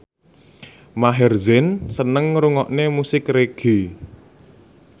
Maher Zein seneng ngrungokne musik reggae